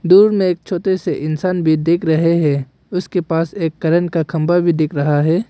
दूर में एक छोटे से इंसान भी देख रहे हैं उसके पास एक करेंट का खंबा भी दिख रहा है।